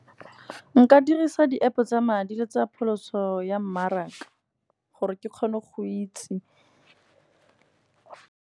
Nka dirisa di-App tsa madi le tsa pholoso ya mmaraka, gore ke kgone go itse.